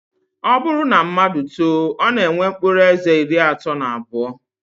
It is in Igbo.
Ọ bụrụ na mmadụ too, ọ na-enwe mkpụrụ eze iri atọ na abụọ